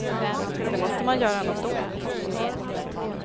Det måste man göra något åt.